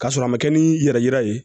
K'a sɔrɔ a ma kɛ ni yɛrɛ yira ye